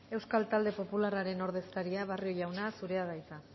euskal talde popularraren ordezkaria barrio jauna zurea da hitza